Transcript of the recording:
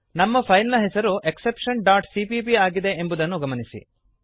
ನಮ್ಮ ಫೈಲ್ ನ ಹೆಸರು exceptionಸಿಪಿಪಿ ಆಗಿದೆ ಎಂಬುದನ್ನು ಗಮನಿಸಿರಿ